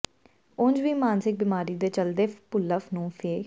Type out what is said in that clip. ਉਂਝ ਵੀ ਮਾਨਸਿਕ ਬਿਮਾਰੀ ਦੇ ਚੱਲਦੇ ਭੁੱਲਰ ਨੂੰ ਫਿ